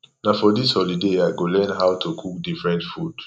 na for dis holiday i go learn how to cook different food